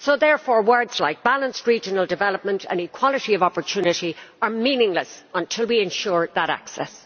Therefore words like balanced regional development' and equality of opportunity' are meaningless until we ensure that access.